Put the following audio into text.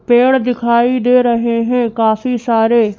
पेड़ दिखाई दे रहे हैं काफी सारे।